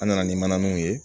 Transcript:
An nana ni mananinw ye